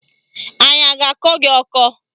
Anya a ga-akọ gị ọkọ?